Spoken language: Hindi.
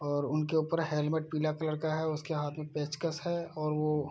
और उनके ऊपर हेलमेट पीला कलर का है उसके हाथ में पेचकस है और वो --